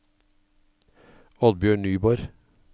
Oddbjørn Nyborg